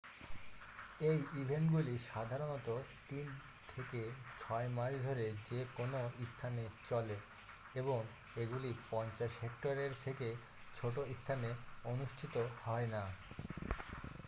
এই ইভেন্টগুলি সাধারণত তিন থেকে ছয় মাস ধরে যে কোনও স্থানে চলে এবং এগুলি 50 হেক্টরের থেকে ছোট স্থানে অনুষ্ঠিত হয় না